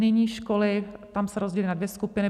Nyní školy - tam se rozdělily na dvě skupiny.